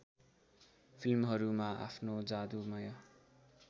फिल्महरूमा आफ्नो जादुमय